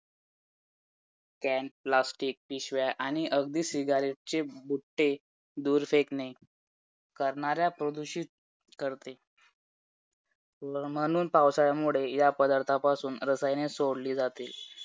can, plastic आणि अगदी cigarettes चे बुट्टे दूर फेकणे करणाऱ्या प्रदूषित ठरते, म्हणून पावसाळामुळे या पदार्थापासून रसायने सोडली जाते